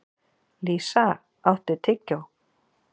Lísa, áttu tyggjó?